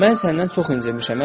Mən səndən çox incimişəm.